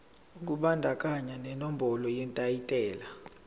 kubandakanya nenombolo yetayitela